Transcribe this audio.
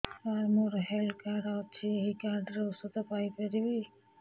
ସାର ମୋର health card ଅଛି ଏହି କାର୍ଡ ରେ ଔଷଧ ପାଇପାରିବି